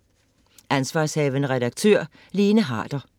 Ansv. redaktør: Lene Harder